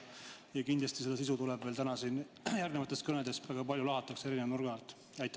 Kindlasti seda sisu meil täna siin järgnevates kõnedes lahatakse eri nurkade alt.